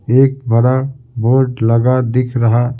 एक बड़ा बोर्ड लगा दिख रहा--